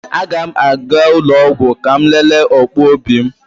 A ga m aga ụlọ ọgwụ ka m lelee ọkpụ obi m